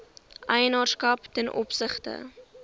eienaarskap ten opsigte